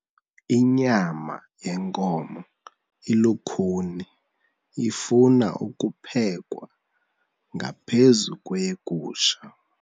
Inyama yenkomo ilukhuni ifuna ukuphekwa ngaphezu kweyegusha.